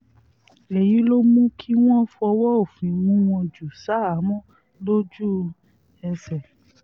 èyí ló mú kí wọ́n fọwọ́ òfin mú wọn jù ṣahámọ́ lójú-ẹsẹ̀